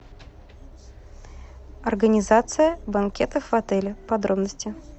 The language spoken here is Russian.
организация банкетов в отеле подробности